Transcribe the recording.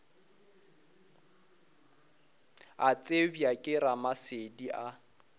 a tsebja ke ramasedi a